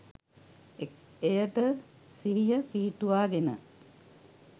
එයට සිහිය පිහිටුවාගෙන